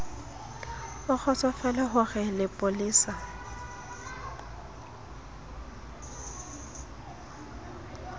o kgotsofale ho re lepolesa